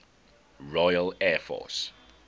royal air force